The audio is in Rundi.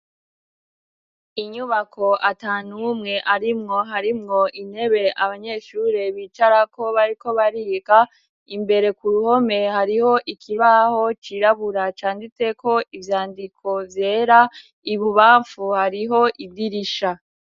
Inyubako ata n'umwe arimwo, harimwo intebe abanyeshure bicarako bariko bariga, imbere ku ruhome hariho ikibaho cirabura canditseko ivyandiko vyera, ibubamfu hariho idirisha.